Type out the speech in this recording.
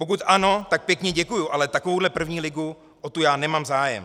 Pokud ano, tak pěkně děkuji, ale takovouhle první ligu, o tu já nemám zájem!